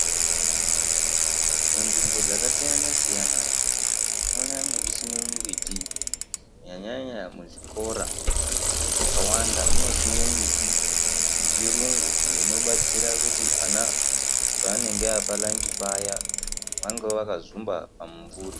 Munzvimbo dzakasiyana-siyana tinoona mwechisimwe mimbiti. Kunyanya-nyanya muzvikora zvakawanda munosimwe mbiti yechirungu iyo inobatsira kuti vana pavanenge vaapalanji paya vange vakazumba pamumvuri.